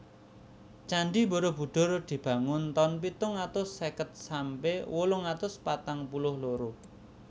Candhi Barabudhur dibangun taun pitung atus seket sampe wolung atus patang puluh loro